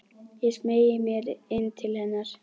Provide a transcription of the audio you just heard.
Ég smeygi mér inn til hennar.